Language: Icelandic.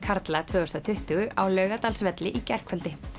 karla tvö þúsund og tuttugu á Laugardalsvelli í gærkvöldi